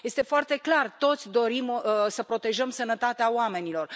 Este foarte clar toți dorim să protejăm sănătatea oamenilor.